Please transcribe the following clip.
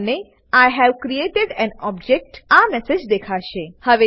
તમને I have created an object આ message દેખાશે